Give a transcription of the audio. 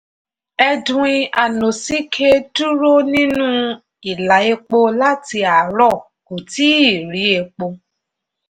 edwin anosike dúró nínú ìlà epo láti àárọ̀ kò tíì rí epo.